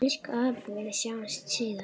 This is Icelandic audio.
Elsku afi, við sjáumst síðar.